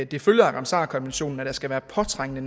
det følger af ramsarkonventionen at der skal være påtrængende